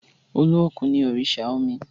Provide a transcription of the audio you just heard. Olókùn no òrìṣà omi.